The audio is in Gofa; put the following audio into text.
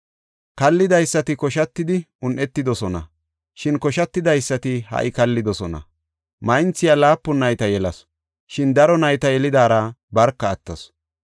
Kallidaysati koshatidi unetidosona; shin koshatidaysati ha77i kallidosona. Maynthiya laapun nayta yelasu; shin daro nayta yelidaara barka attasu